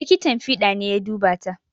Likitan fiɗa ne ya duba ta